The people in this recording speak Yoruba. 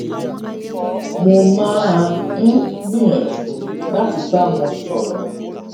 mo máa ń gbìyànjú láti bá wọn sòrò